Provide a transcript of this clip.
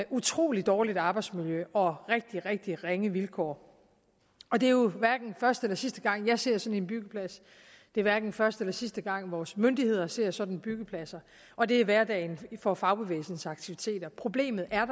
utrolig dårligt arbejdsmiljø og rigtig rigtig ringe vilkår og det er jo hverken første eller sidste gang jeg ser sådan en byggeplads det er hverken første eller sidste gang vores myndigheder ser sådan en byggeplads og det er hverdagen for fagbevægelsens aktiviteter problemet er